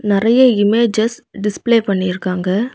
நறைய images display பண்ணிருக்காங்க.